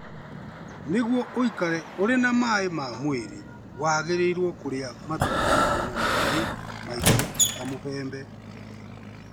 Nĩguo ũikare ũrĩ na maĩ ma mwĩrĩ wagĩrĩirũo kũrĩa matunda marĩ na maĩ maingĩ ta mũbembe.